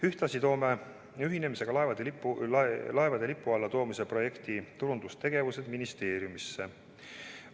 Ühtlasi toome ühendamisega laevade Eesti lipu alla toomise projekti turundustegevused ministeeriumisse.